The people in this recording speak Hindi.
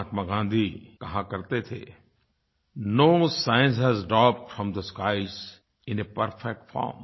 महात्मा गाँधी कहा करते थे no science has dropped from the skies in a perfect form